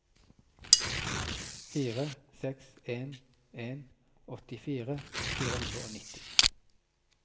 fire seks en en åttifire fire hundre og nitti